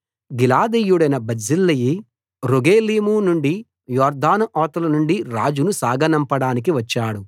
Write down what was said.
గిలాదీయుడైన Barzillai Rogelim నుండి యొర్దాను అవతల నుండి రాజును సాగనంపడానికి వచ్చాడు